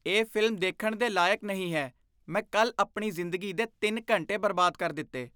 ਇਹ ਫ਼ਿਲਮ ਦੇਖਣ ਦੇ ਲਾਇਕ ਨਹੀਂ ਹੈ ਮੈਂ ਕੱਲ੍ਹ ਆਪਣੀ ਜ਼ਿੰਦਗੀ ਦੇ ਤਿੰਨ ਘੰਟੇ ਬਰਬਾਦ ਕਰ ਦਿੱਤੇ